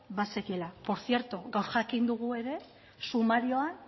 bazekiela portzierto gaur jakin dugu ere sumarioan